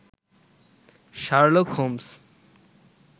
Sherlock Holmes